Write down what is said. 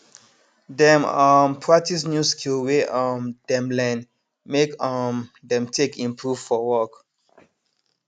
dem um practice new skill wey um dem learn make um dem take improve for work